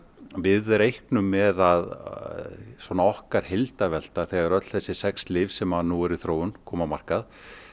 við reiknum með að svona okkar heildarvelta þegar öll þessi sex lyf sem nú eru í þróun koma á markað